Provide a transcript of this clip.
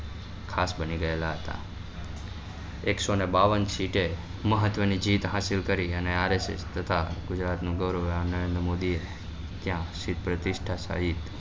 ખાસ બની ગયેલા હતા એકસો ને બાવ્વન સીટે મહત્વ ની જીત હાસિલ કરી અને ગુજરાત નું ગૌરવ આં નરેન્દ્ર મોદી ત્યાં સીટ પ્રતિસ્થા સહીત